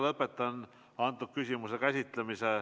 Lõpetan selle küsimuse käsitlemise.